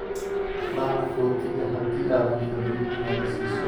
Raac rootiga haddii aadan rabin inaad i siiso